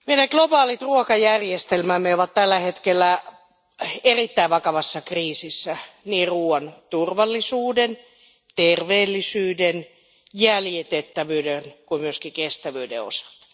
Arvoisa puhemies, meidän globaalit ruokajärjestelmämme ovat tällä hetkellä erittäin vakavassa kriisissä niin ruoan turvallisuuden, terveellisyyden, jäljitettävyyden kuin myöskin kestävyyden osalta.